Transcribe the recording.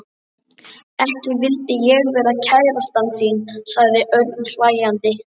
Ekki vildi ég vera kærastan þín sagði Örn hlæjandi.